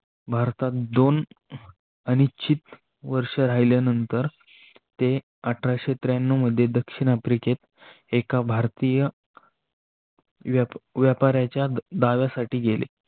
भारतात दोन अनिश्चित वर्ष राहिल्यानंतर ते अठराशे त्र्यांनव मध्ये दक्षिण आफ्रिकेत एका भारतीय व्यापाऱ्याच्या डाव्यासाठी गेले